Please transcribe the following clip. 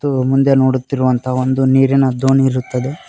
ಇದು ಮುಂದೆ ನೋಡುತ್ತಿರುವಂತಹ ಒಂದು ನೀರಿನ ದೋಣಿ ಇರುತ್ತದೆ.